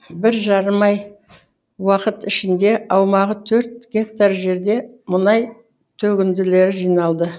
бір жарым ай уақыт ішінде аумағы төрт гектар жерде мұнай төгінділері жиналды